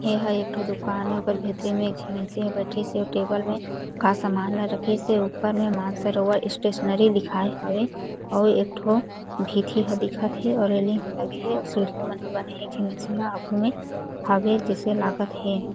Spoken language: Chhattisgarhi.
एह एक ठो दुकान ए ओकर भीतरी म एक झी मइनसे हा बइठीस हे अउ टेबल में का सामान ला रखिस हे ऊपर में मानसरोवर स्टेशनरी लिखाए हावे अउ एक ठो भीथी हा दिखत हे अउ रेलिंग लगे हे अउ सीढ़ी मन ह बने हे एक झन मइनसे ह आघु में हावे जइसे लागत हे।